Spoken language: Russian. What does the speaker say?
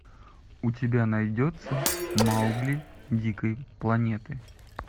у тебя найдется маугли дикой планеты